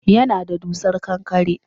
Yana da dusar ƙanƙara